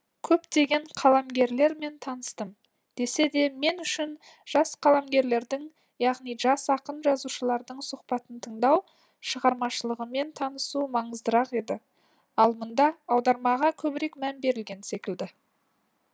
көптеген қаламгерлермен таныстым десе де мен үшін жас қаламгерлердің яғни жас ақын жазушылардың сұхбатын тыңдау шығармашылығымен танысу маңыздырақ еді ал мұнда аудармаға көбірек мән берілген секілді